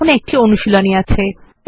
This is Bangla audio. এখানে একটি অনুশীলনী আছে